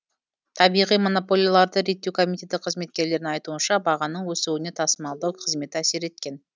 табиғи монополияларды реттеу комитеті қызметкерлерінің айтуынша бағаның өсуіне тасымалдау қызметі әсер еткен